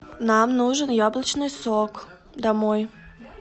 нам нужен яблочный сок домой